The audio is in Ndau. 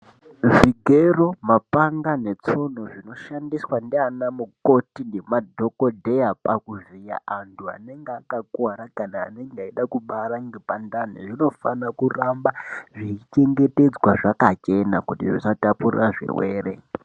Zvigero , mapanga netsono zvinoshandiswa ndianamukoti nemadhokotera pakuvhiya andu anenge akakuwara kana anenge echida kubara nepandaa zvinofanira kuramba zvechichengetedzwa zvakachena kuti zvisatapurira zvirwere .